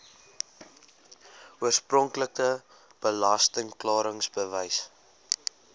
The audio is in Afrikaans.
oorspronklike belasting klaringsbewys